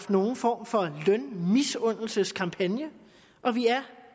nogen form for lønmisundelseskampagne og vi er